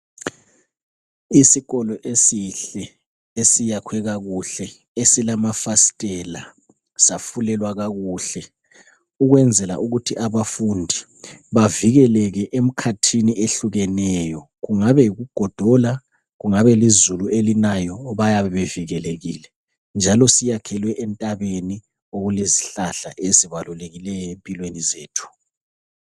Isikolo esihle esiyakhwe kakuhle esilamafastela safulelwa kakuhle ukwenzela ukuthi abafundi bavikeleke emkhathini ehlukeneyo kungabe yikugodola kungabe lizulu elinayo bayabe bevikelekile njalo siyakhelwe entabeni okulezihlahla ezibalukileyo empilweni zethu.